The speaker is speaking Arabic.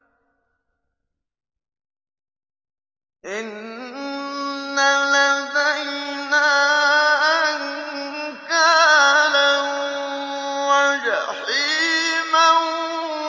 إِنَّ لَدَيْنَا أَنكَالًا وَجَحِيمًا